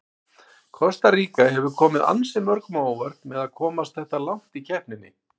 Kosta Ríka hefur komið ansi mörgum á óvart með að komast þetta langt í keppninni.